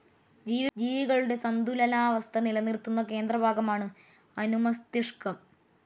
ജീവികളുടെ സന്തുലനാവസ്ഥ നിലനിർത്തുന്ന കേന്ദ്രഭാഗമാണ് അനുമസ്തിഷ്കം.